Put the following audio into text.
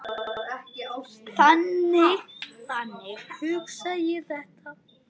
Þannig hugsa ég þetta.